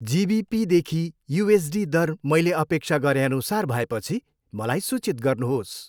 जी बी पीदेखि U S D दर मैले अपेक्षा गरेअनुसार भएपछि मलाई सूचित गर्नुहोस्।